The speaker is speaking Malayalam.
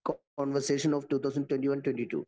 Co conversion of 2021-22.